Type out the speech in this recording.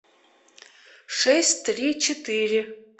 шесть три четыре